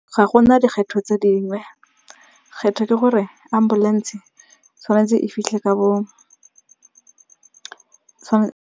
Ga gona dikgetho tse dingwe. Kgetho ke gore ambulance-e tshwanetse e fitlhe ka bo .